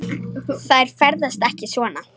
Þær ferðast ekki svona.